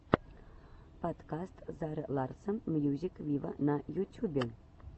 подкаст зары ларсон мьюзик виво на ютюбе